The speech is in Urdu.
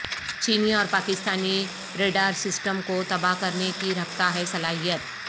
چینی اور پاکستانی ریڈار سسٹم کوتباہ کرنے کی رکھتاہے صلاحیت